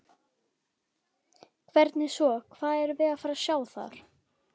Hvernig svona, hvað erum við að fara sjá þar?